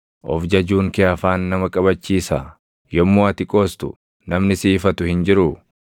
Of jajuun kee afaan nama qabachiisaa? Yommuu ati qoostu namni si ifatu hin jiruu?